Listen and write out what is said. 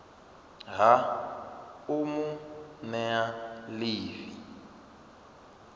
ha u mu nea ḽivi